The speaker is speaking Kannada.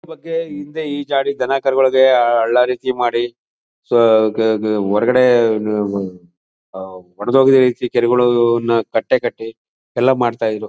ಇದರ ಬಗೆ ಹಿಂದೆ ಈಜಾಡಿ ಧನ ಕರುಗಳಿಗೆ ಹಳ್ಳ ರೀತಿ ಮಾಡಿ ಕ ಕೆ ಕೆ ಕೆ ಹೊರಗಡೆ ಹೊಡೆದು ಹೋಗಿದ್ದ ರೀತಿ ಕೆರೆಗಳನ್ನ ಕಟ್ಟಿ ಎಲ್ಲಾ ಮಾಡ್ತಾ ಇದ್ರು.